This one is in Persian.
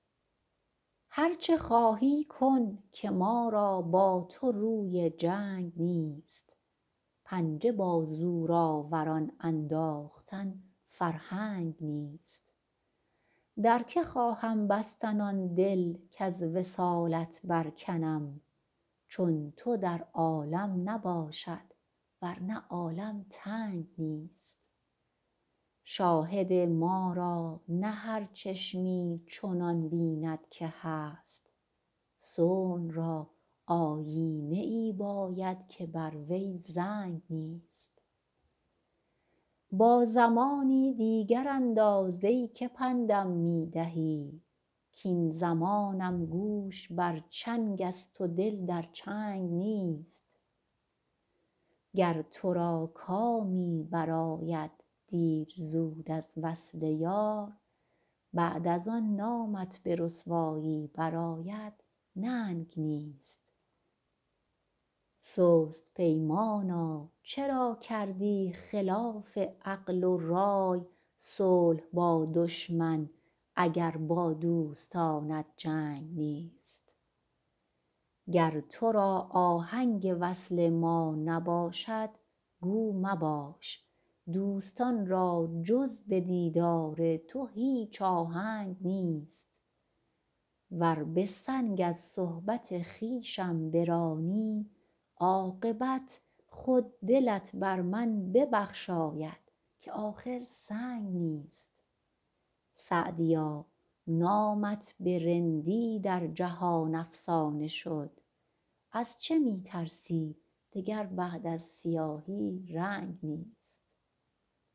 هر چه خواهی کن که ما را با تو روی جنگ نیست پنجه بر زورآوران انداختن فرهنگ نیست در که خواهم بستن آن دل کز وصالت برکنم چون تو در عالم نباشد ور نه عالم تنگ نیست شاهد ما را نه هر چشمی چنان بیند که هست صنع را آیینه ای باید که بر وی زنگ نیست با زمانی دیگر انداز ای که پند م می دهی کاین زمانم گوش بر چنگ است و دل در چنگ نیست گر تو را کامی برآید دیر زود از وصل یار بعد از آن نامت به رسوایی برآید ننگ نیست سست پیمانا چرا کردی خلاف عقل و رای صلح با دشمن اگر با دوستانت جنگ نیست گر تو را آهنگ وصل ما نباشد گو مباش دوستان را جز به دیدار تو هیچ آهنگ نیست ور به سنگ از صحبت خویشم برانی عاقبت خود دلت بر من ببخشاید که آخر سنگ نیست سعدیا نامت به رندی در جهان افسانه شد از چه می ترسی دگر بعد از سیاهی رنگ نیست